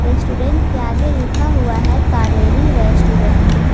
Restaurant के आगे लिखा हुआ है कावेरी रेस्टोरेंट ।